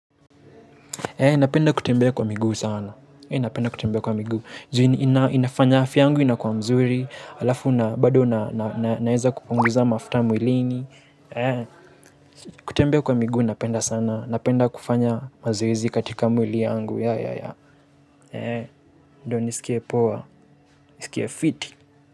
Napenda kutembea kwa miguu sana napenda kutembea kwa miguu inafanya afya yangu inakwa mzuri alafu na bado na naeza kupunguza mafuta mwilini kutembea kwa miguu napenda sana napenda kufanya mazoezi katika mwili yangu ndio nisikie poa nisikie fit.